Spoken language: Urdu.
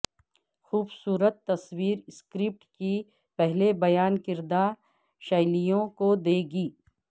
خوبصورت تصویر سکرپٹ کی پہلے بیان کردہ شیلیوں کو دے گی